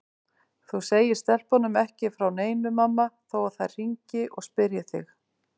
Þú segir stelpunum ekki frá neinu mamma þó þær hringi og spyrji þig.